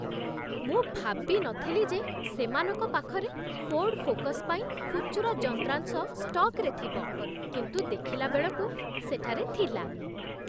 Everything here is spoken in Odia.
ମୁଁ ଭାବି ନଥିଲି ଯେ ସେମାନଙ୍କ ପାଖରେ ଫୋର୍ଡ ଫୋକସ୍ ପାଇଁ ଖୁଚୁରା ଯନ୍ତ୍ରାଂଶ ଷ୍ଟକ୍‌ରେ ଥିବ, କିନ୍ତୁ ଦେଖିଲା ବେଳକୁ ସେଠାରେ ଥିଲା!